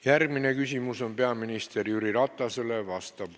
Järgmine küsimus on peaminister Jüri Ratasele.